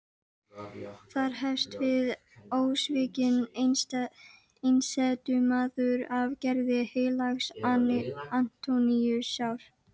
Þar hefst við ósvikinn einsetumaður af gerð heilags Antóníusar.